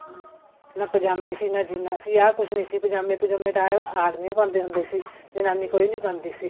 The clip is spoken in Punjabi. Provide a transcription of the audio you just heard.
ਨਾ ਪਜਾਮੀ ਸੀ ਨਾ ਜੀਨਾ ਸੀ ਕੁੱਝ ਨੀ ਸੀ ਪਜਾਮੇ ਪ੍ਜੁਮੇ ਤਾਂ ਆਦਮੀ ਹੀ ਪਾਉਂਦੇ ਹੁੰਦੇ ਸੀ ਜਨਾਨੀ ਕੋਈ ਨੀ ਪਾਉਂਦੀ ਸੀ